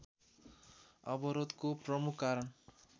अवरोधको प्रमुख कारण